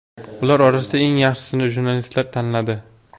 Ular orasidan eng yaxshisini jurnalistlar tanladi.